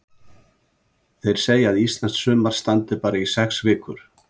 Þeir segja að íslenskt sumar standi bara í sex vikur.